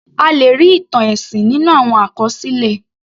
A lè rí ìtàn ẹ̀sìn nínú àwọn àkọsílẹ̀.